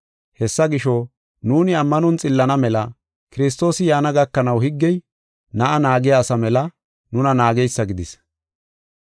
Hessa gisho, nuuni ammanon xillana mela Kiristoosi yaana gakanaw higgey na7a naagiya asa mela nuna naageysa gidis.